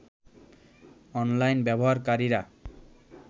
online ব্যবহারকারীরা